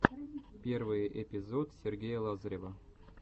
первый эпизод сергея лазарева